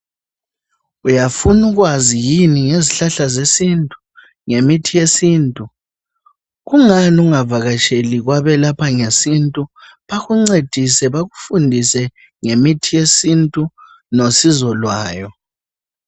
Uyafuna ukwazi yini ngezihlahla zesintu ngemithi yesintu?.Kungani ungavakatsheli kwabelapha ngesintu bakuncedise bakufundise ngemithi yesintu losizo lwayo.